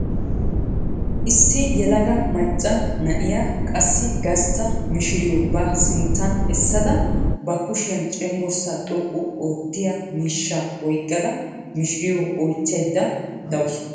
Issi yelaga macca na'iya qassi gastta mishiriyo ba sinttan essada ba kushiyan cenggurssaa xoqqu oottiya miishshaa oyikkada mishiriyo oyichchayidda dawusu.